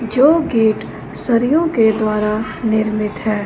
जो गेट सरियोंके द्वारा निर्मित हैं।